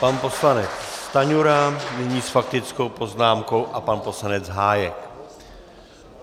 Pan poslanec Stanjura nyní s faktickou poznámkou a pan poslanec Hájek.